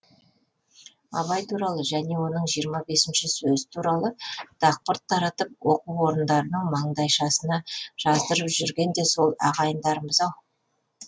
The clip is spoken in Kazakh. абай туралы және оның жиырма бесінші сөзі туралы дақпырт таратып оқу орындарының маңдайшасына жаздырып жүрген де сол ағайындарымыз ау